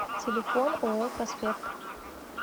телефон ооо проспект